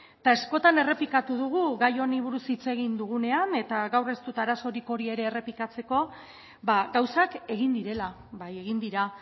eta askotan errepikatuko dugu gai honi buruz hitz egin dugunean eta gaur ez dut arazorik hori ere errepikatzeko ba gauzak egin direla bai egin dira